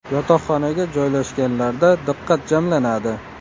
Yotoqxonaga joylashganlarda diqqat jamlanadi.